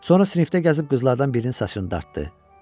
Sonra sinifdə gəzib qızlardan birinin saçını dartdı.